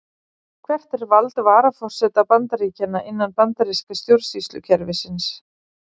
Hvert er vald varaforseta Bandaríkjanna, innan bandaríska stjórnsýslukerfisins?